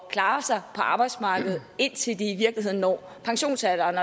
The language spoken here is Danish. at klare sig på arbejdsmarkedet indtil de i virkeligheden når pensionsalderen